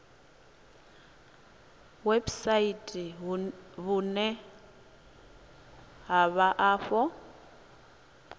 website vhune ha vha afho